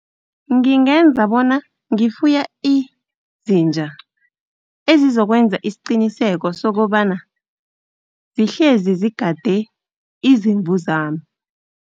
Ngingenza bona ngifuye izinja, ezizokwenza isiqiniseko sokobana zihlezi zigade izimvu zami.